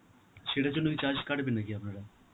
সেটার জন্য কি charge কাটবে নাকি আপনারা?